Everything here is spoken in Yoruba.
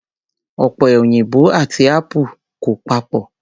Ọ̀pẹ òyìnbò àti apple kò papọ̀